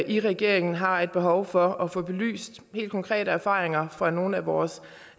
i regeringen har et behov for at få belyst helt konkrete erfaringer fra nogle af vores